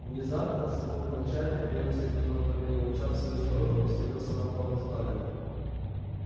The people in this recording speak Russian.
внезапно с воплем отчаяния венус изменил направление луча в свою сторону и свалился на пол обезглавленный